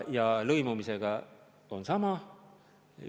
Ja lõimumisega on sama.